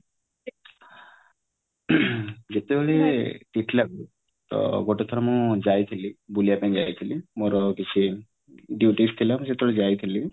ଯେତେବେଳେ ଟିଟଲାଗଡ କୁ ତ ଗୋଟେ ଥର ମୁଁ ଯାଇଥିଲି ବୁଲିବା ପାଇଁ ଯାଇଥିଲି ମୋର କିଛି duties ଥିଲା ମୁ ଯେତେବଳେ ଯାଇଥିଲି